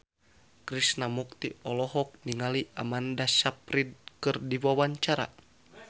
Krishna Mukti olohok ningali Amanda Sayfried keur diwawancara